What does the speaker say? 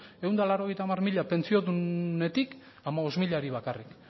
ehun eta laurogeita hamar mila pentsiodunetik hamabost milari bakarrik